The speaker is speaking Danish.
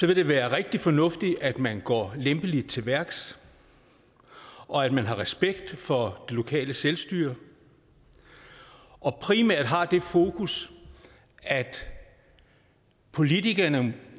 det være rigtig fornuftigt at man går lempeligt til værks og at man har respekt for det lokale selvstyre og primært har det fokus at politikerne